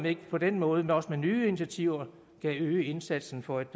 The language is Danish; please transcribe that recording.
ikke på den måde også med nye initiativer kan øge indsatsen for et